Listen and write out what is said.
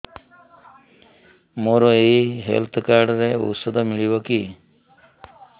ମୋର ଏଇ health card ରେ ଔଷଧ ମିଳିବ କି